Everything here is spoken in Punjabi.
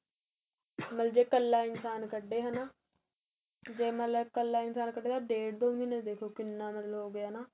ਮਤਲਬ ਜ਼ੇ ਇੱਕਲਾ ਇਨਸ਼ਾਨ ਕੱਢੇ ਹੈਣਾ ਜ਼ੇ ਮਤਲਬ ਇੱਕਲਾ ਇਨਸ਼ਾਨ ਕੱਢੇ ਤਾਂ ਡੇਡ ਦੋ ਮਹੀਨੇ ਦੇਖੋ ਕਿੰਨਾ ਮਤਲਬ ਹੋ ਗਿਆ ਨਾ